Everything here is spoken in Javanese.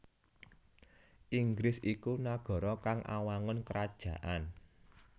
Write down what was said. Inggris iku nagara kang awangun krajaan